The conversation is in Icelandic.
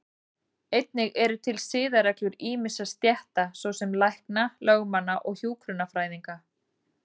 Einnig eru til siðareglur ýmissa stétta, svo sem lækna, lögmanna og hjúkrunarfræðinga.